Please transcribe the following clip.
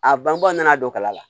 A bangebaaw nana don kala la